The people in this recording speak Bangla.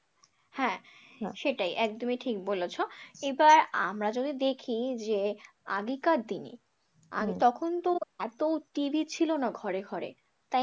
হ্যাঁ সেটাই একদমই ঠিক বলেছ এবার আমরা যদি দেখি যে আগেকার দিনে তখন তো এতো TV ছিল না ঘরে ঘরে, তাই না